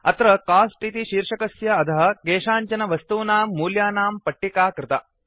अत्र कोस्ट इति शीर्षकस्य अधः केषाञ्चन वस्तूनां मौल्यानां पट्टिका कृता